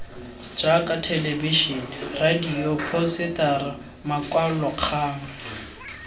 jaaka thelebisene radio diphousetara makwalokgang